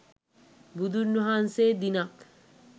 බුදුන් වහන්සේ දිනක්